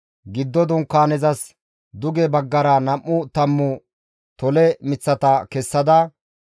Giddo Dunkaanezas duge baggara nam7u tammu tole miththata kessada,